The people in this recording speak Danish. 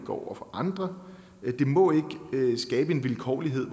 over for andre det må ikke skabe vilkårlighed